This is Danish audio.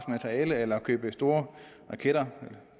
materiale eller købe store raketter